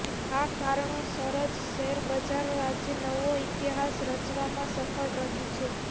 આ કારણોસર જ શેરબજાર આજે નવો ઈતિહાસ રચવામાં સફળ રહ્યું છે